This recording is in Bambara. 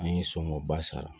An ye soŋɔba sara